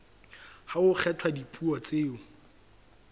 ha ho kgethwa dipuo tseo